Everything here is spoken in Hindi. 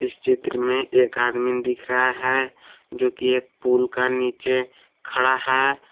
इस चित्र में एक आदमी दिख रहा है जो की एक पूल के नीचे खड़ा है।